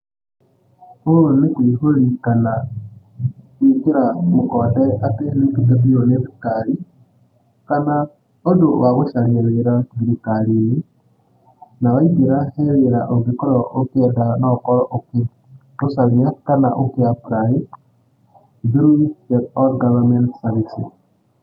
Ũũ nĩ kũihũri kana, gũĩkĩra mũkonde atĩ nĩũtungatĩirũo nĩ thirikari, kana, ũndũ, wa gũcaria wĩra thirikari-inĩ. Na waingĩra, he wĩra ũngĩkorwo ũkĩenda no ũkorwo ũkĩũcaria kana ũkĩ apply, through the all government services.